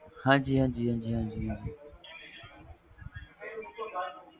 ਹਾਂ ਜੀ ਹਾਂ ਜੀ